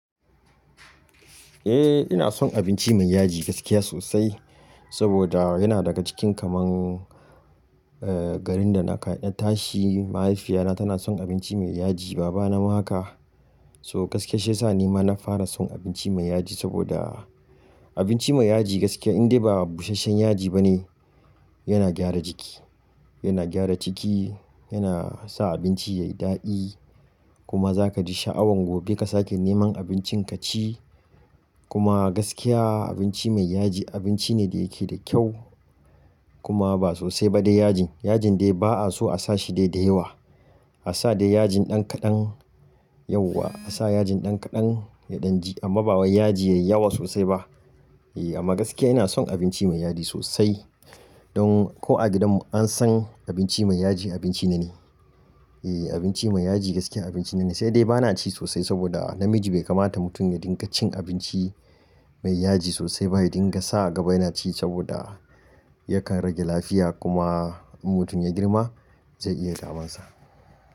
Eh ina son abinci mai yaji gaskiya sosai, saboda yana daga cikin kaman eh garin da na tashi. Mahaifiya na tana son abinci mai yaji baba na ma haka. So gaskiya shiyasa ni ma na fara son abinci mai yaji saboda abinci mai yaji gaskiya in dai ba busasshen yaji bane yana gyara jiki, yana gyara jiki, yana sa abinci yayi daɗi kuma zaka ji sha'awan gobe ka sake neman abincin kaci. Kuma gaskiya abinci mai yaji abinci ne da yake da kyau kuma ba sosai ba da yajin. Yajin dai ba'a so a'sa shi dai da yawa. A'sa dai yajin ɗan kaɗan yauwa, a'sa yajin ɗan kaɗan ya ɗan ji amma ba wai yaji yayi yawa sosai ba. Eh amma gaskiya ina son abinci mai yaji sosai. Don ko a gidan mu an san abinci mai yaji abinci neni Eh abinci mai yaji gaskiya abinci nane sai dai ba na ci sosai saboda namiji bai kamata mutum ya dinga cin abinci mai yaji sosai ba. Ya dinga sa a gaba yana ci saboda yakan rage lafiya kuma in mutum ya girma zai iya kamansa.